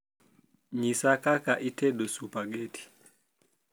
nyisa kaka itedo supageti